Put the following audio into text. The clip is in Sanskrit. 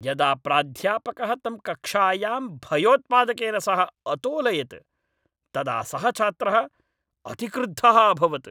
यदा प्राध्यापकः तं कक्षायां भयोत्पादकेन सह अतोलयत्, तदा सः छात्रः अतिक्रुद्धः अभवत्।